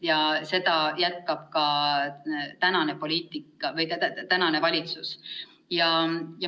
Ja seda jätkab ka praegune valitsus.